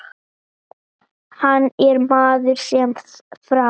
Hann er maður sem fram